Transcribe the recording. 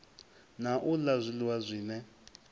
na u la zwiliwa zwine